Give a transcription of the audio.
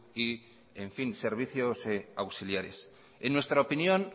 y servicios auxiliares en nuestra opinión